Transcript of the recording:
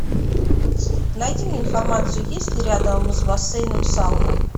найди мне информацию есть ли рядом с бассейном сауна